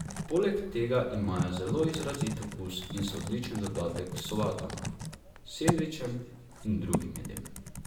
Poleg tega imajo zelo izrazit okus in so odličen dodatek k solatam, sendvičem in drugim jedem.